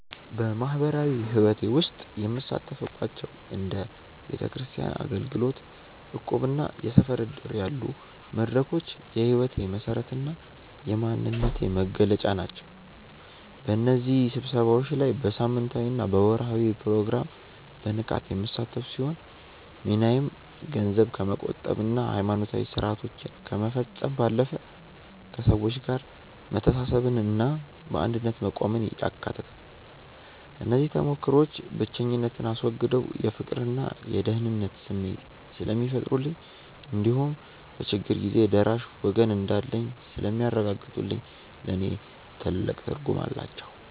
በማኅበራዊ ሕይወቴ ውስጥ የምሳተፍባቸው እንደ ቤተክርስቲያን አገልግሎት፣ እቁብና የሰፈር ዕድር ያሉ መድረኮች የሕይወቴ መሠረትና የማንነቴ መገለጫ ናቸው። በእነዚህ ስብሰባዎች ላይ በሳምንታዊና በወርኃዊ ፕሮግራም በንቃት የምሳተፍ ሲሆን፣ ሚናዬም ገንዘብ ከመቆጠብና ሃይማኖታዊ ሥርዓቶችን ከመፈጸም ባለፈ፣ ከሰዎች ጋር መተሳሰብንና በአንድነት መቆምን ያካትታል። እነዚህ ተሞክሮዎች ብቸኝነትን አስወግደው የፍቅርና የደህንነት ስሜት ስለሚፈጥሩልኝ እንዲሁም በችግር ጊዜ ደራሽ ወገን እንዳለኝ ስለሚያረጋግጡልኝ ለእኔ ትልቅ ትርጉም አላቸው።